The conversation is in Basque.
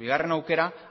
bigarren aukera